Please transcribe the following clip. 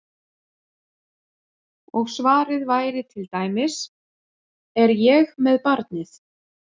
Og svarið væri til dæmis: Er ég með barnið?